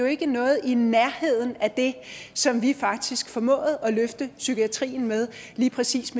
ikke noget i nærheden af det som vi faktisk formåede at løfte psykiatrien med lige præcis